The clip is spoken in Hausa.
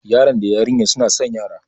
Yaron da yarinyar suna san yara.